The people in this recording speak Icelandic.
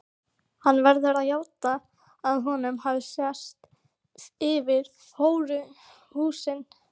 Hann verður að játa að honum hafi sést yfir hóruhúsin.